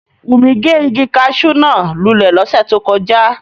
Wunmi ge igi caṣú náa lulẹ lose to koja.